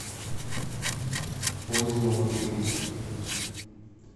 поиск новых фильмов